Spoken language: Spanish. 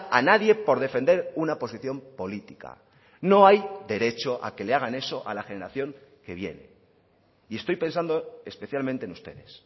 a nadie por defender una posición política no hay derecho a que le hagan eso a la generación que viene y estoy pensando especialmente en ustedes